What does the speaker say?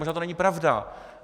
Možná to není pravda.